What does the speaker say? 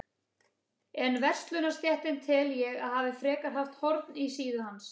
En verslunarstéttin tel ég, að hafi frekar haft horn í síðu hans.